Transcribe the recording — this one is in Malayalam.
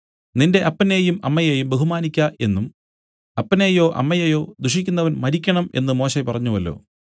നിന്റെ അപ്പനെയും അമ്മയെയും ബഹുമാനിയ്ക്ക എന്നും അപ്പനെയോ അമ്മയെയോ ദുഷിക്കുന്നവൻ മരിക്കണം എന്ന് മോശെ പറഞ്ഞുവല്ലോ